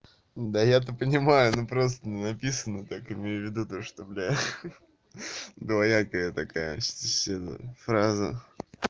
да я-то понимаю но просто написано так имею в виду то что бля двоякая такая сильно фраза